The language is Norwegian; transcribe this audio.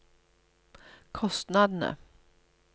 kostnadene